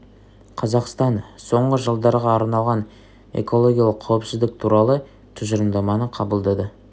қазақстан соңғы жылдарға арналған экологиялық қауіпсіздік туралы тұжырымдаманы қабылдады